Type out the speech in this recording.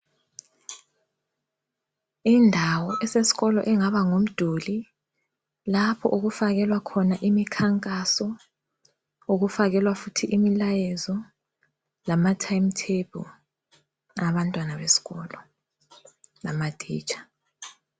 Indawo esesikolo engaba ngumduli lapho okufakelwa khona imikhankaso, okufakelwa futhi imilayezo lama time table abantwana besikolo lamatitsha.